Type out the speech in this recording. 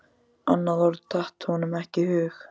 Annað orð datt honum ekki í hug.